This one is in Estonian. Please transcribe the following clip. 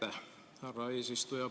Aitäh, härra eesistuja!